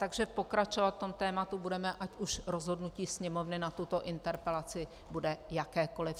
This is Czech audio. Takže pokračovat v tématu budeme, ať už rozhodnutí Sněmovny na tuto interpelaci bude jakékoli.